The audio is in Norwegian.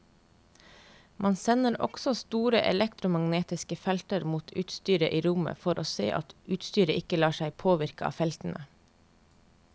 Man sender også store elektromagnetiske felter mot utstyret i rommet for å se at utstyret ikke lar seg påvirke av feltene.